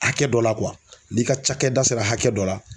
Hakɛ dɔ la kuwa n'i ka cakɛda sera hakɛ dɔ la